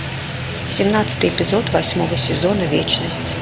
семнадцатый эпизод восьмого сезона вечность